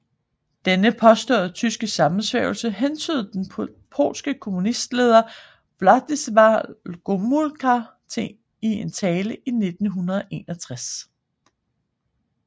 Denne påståede tyske sammensværgelse hentydede den polske kommunistleder Władysław Gomułka til i en tale i 1961